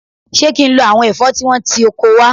Ṣé kí n lo àwọn ẹ̀fọ́ tí wọ́n ti oko wá?